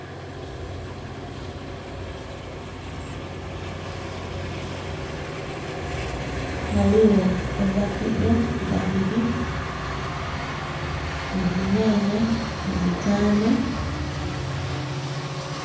Haliwo ovakedo babili ni zinyanya zitano